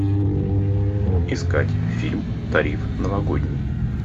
искать фильм тариф новогодний